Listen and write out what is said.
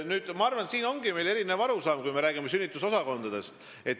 Aga ma arvan, et meil on erinev arusaam, kui me räägime sünnitusosakondadest.